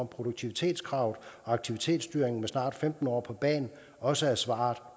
produktivitetskravet og aktivitetsstyringen med snart femten år på bagen også er svaret